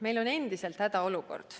Meil on endiselt hädaolukord.